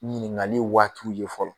Ɲininkali waatiw ye fɔlɔ.